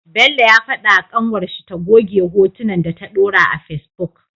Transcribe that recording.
Bello ya fada wa kanwar shi ta goge hotunnan da ta dora a face book